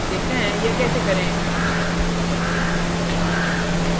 देखते हैं यह कैसे करें